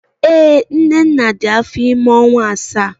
Ee, Nnenna dị afọ ime ọnwa asaa